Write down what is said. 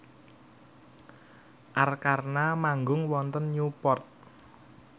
Arkarna manggung wonten Newport